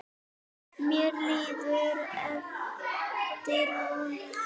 Mér líður eftir vonum.